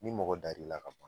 Ni mɔgɔ dar'i la ka ban